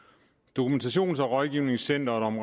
dokumentations og rådgivningscenteret om